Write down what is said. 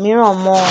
mìíràn mọ ọn